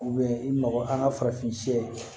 i mago an ka farafin sɛ